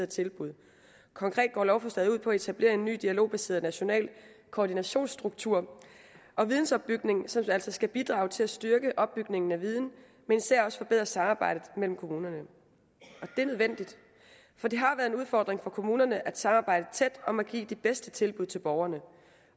tilbud konkret går lovforslaget ud på at etablere en ny dialogbaseret national koordinationsstruktur og vidensopbygning som altså skal bidrage til at styrke opbygningen af viden men især også forbedre samarbejdet mellem kommunerne og det er nødvendigt for det har været en udfordring for kommunerne at samarbejde tæt om at give de bedste tilbud til borgerne